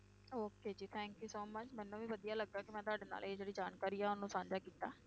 Okay ਜੀ thank you so much ਮੈਨੂੰ ਵੀ ਵਧੀਆ ਲੱਗਾ ਕਿ ਮੈਂ ਤੁਹਾਡੇ ਨਾਲ ਇਹ ਜਿਹੜੀ ਜਾਣਕਾਰੀ ਆ ਉਹਨੂੰ ਸਾਂਝਾ ਕੀਤਾ।